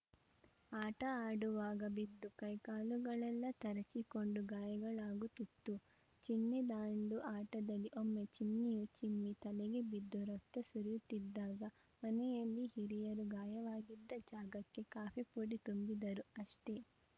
ಆಟ ಆಡುವಾಗ ಬಿದ್ದು ಕೈ ಕಾಲುಗಳೆಲ್ಲಾ ತರಚಿಕೊಂಡು ಗಾಯಗಳಾಗುತ್ತಿತ್ತು ಚಿಣ್ಣಿದಾಂಡು ಆಟದಲ್ಲಿ ಒಮ್ಮೆ ಚಿನ್ನಿಯು ಚಿಮ್ಮಿ ತಲೆಗೆ ಬಿದ್ದು ರಕ್ತ ಸುರಿಯುತ್ತಿದ್ದಾಗ ಮನೆಯಲ್ಲಿ ಹಿರಿಯರು ಗಾಯವಾಗಿದ್ದ ಜಾಗಕ್ಕೆ ಕಾಫಿಪುಡಿ ತುಂಬಿದರು ಅಷ್ಟೆ